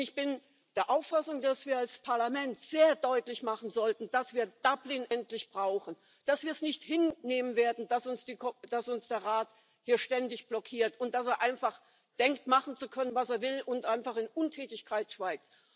Und ich bin der Auffassung, dass wir als Parlament sehr deutlich machen sollten, dass wir Dublin endlich brauchen, dass wir es nicht hinnehmen werden, dass uns der Rat hier ständig blockiert und dass er einfach denkt, machen zu können, was er will, und einfach in Untätigkeit schweigt.